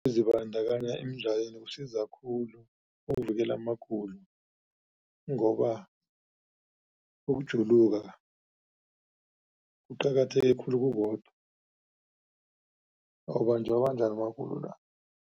Ukuzibandakanya emidlalweni kusiza khulu ukuvikela amagulo ngoba ukujuluka kuqakatheke khulu kukodwa awubanjwabanjwa magulo la.